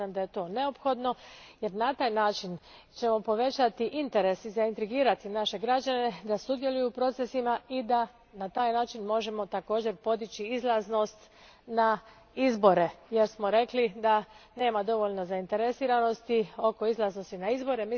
Smatram da je to neophodno, jer ćemo na taj način povećati interes i zaintrigirati naše građane da sudjeluju u procesima i da na taj način također možemo postići odaziv na izbore, jer smo rekli da nema dovoljno zainteresiranosti za odaziv na izbore.